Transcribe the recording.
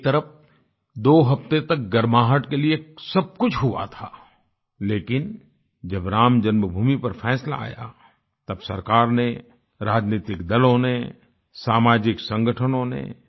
एक तरफ दो हफ्ते तक गर्माहट के लिए सब कुछ हुआ था लेकिन जब राम जन्मभूमि पर फैसला आया तब सरकार ने राजनैतिक दलों ने सामाजिक संगठनों ने